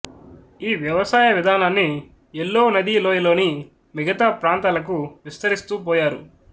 ఈ వ్యవసాయ విధానాన్ని యెల్లో నదీ లోయలోని మిగతా ప్రాంతాలకు విస్తరిస్తూ పోయారు